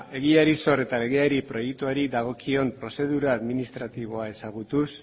egiari zor eta legeari eta proiektuari dagokion prozedura administratiboa ezagutuz